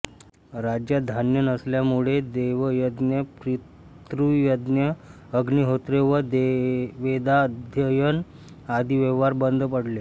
राज्यात धान्य नसल्यामुळे देवयज्ञ पितृयज्ञ अग्निहोत्रे व वेदाध्ययन आदि व्यवहार बंद पडले